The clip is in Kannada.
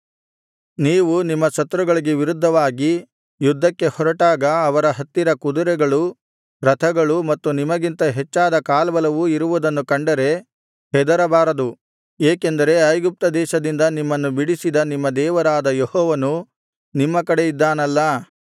ನೀವು ನಿಮ್ಮ ಶತ್ರುಗಳಿಗೆ ವಿರುದ್ಧವಾಗಿ ಯುದ್ಧಕ್ಕೆ ಹೊರಟಾಗ ಅವರ ಹತ್ತಿರ ಕುದುರೆಗಳೂ ರಥಗಳೂ ಮತ್ತು ನಿಮಗಿಂತ ಹೆಚ್ಚಾದ ಕಾಲ್ಬಲವೂ ಇರುವುದನ್ನು ಕಂಡರೆ ಹೆದರಬಾರದು ಏಕೆಂದರೆ ಐಗುಪ್ತದೇಶದಿಂದ ನಿಮ್ಮನ್ನು ಬಿಡಿಸಿದ ನಿಮ್ಮ ದೇವರಾದ ಯೆಹೋವನು ನಿಮ್ಮ ಕಡೆ ಇದ್ದಾನಲ್ಲಾ